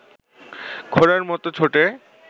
ঘোড়ার মতো ছোটে